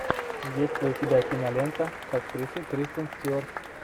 есть ли у тебя кинолента с актрисой кристен стюарт